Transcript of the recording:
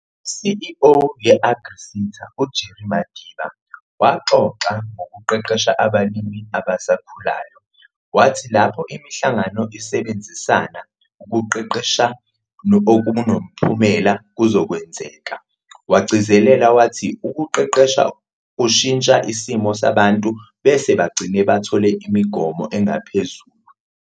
ICEO yeAgriSeta, uJerry Madiba, waxoxa ngukuqeqesha abalimi abasakhulayo. Wathi lapho imihlangano isebenzisana, ukuqeqesha okunomphumelelo kuzokwenzeka. Wagcizelela wathi ukuqeqesha kushintsha isimo sabantu bese bagcine bathole imigomo engaphezulu.